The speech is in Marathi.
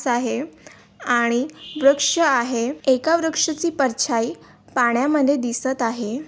आहे आणि वृक्ष आहे एका वृक्षाची परछाई पाण्यामध्ये दिसत आहे.